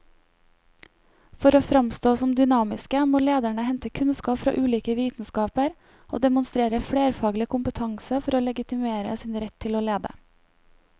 For å framstå som dynamiske må lederne hente kunnskap fra ulike vitenskaper og demonstrere flerfaglig kompetanse for å legitimere sin rett til å lede.